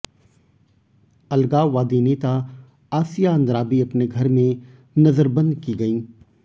अलगाववादी नेता आसिया अंद्राबी अपने घर में नज़रबंद की गयीं